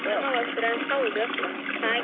ಸಮವಸ್ತ್ರ ಹೌದು ಹಾಗೆ.